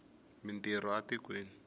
mi ntirho a tikweni